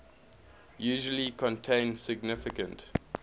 usually contain significant